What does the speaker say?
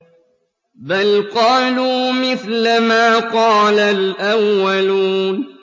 بَلْ قَالُوا مِثْلَ مَا قَالَ الْأَوَّلُونَ